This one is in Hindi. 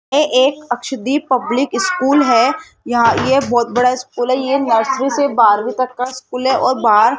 एक अक्षदीप पब्लिक स्कूल है है यहां ये बहोत बड़ा स्कूल है ये नर्सरी से बारहवीं तक का स्कूल है और बाहर --